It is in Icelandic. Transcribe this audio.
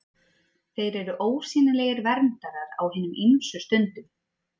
Þeir eru ósýnilegir verndarar á hinum ýmsu stundum.